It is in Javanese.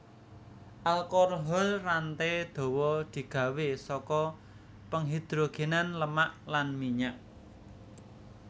Alkohol rantai dawa di gawé saka penghidrogènan lemak lan minyak